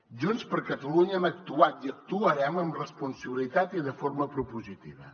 junts per catalunya hem actuat i actuarem amb responsabilitat i de forma propositiva